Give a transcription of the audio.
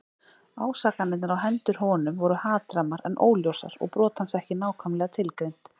Ásakanirnar á hendur honum voru hatrammar en óljósar og brot hans ekki nákvæmlega tilgreind.